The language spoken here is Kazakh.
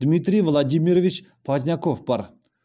дмитрий владимирович позняков бар